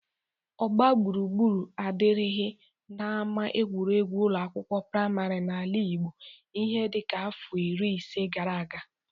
Ogbagbụrugbụru adịrighi n'ama egwuregwu ụlọ akwụkwọ prịmarị n'ala Igbo ihe dịka afọ iri ise gara aga.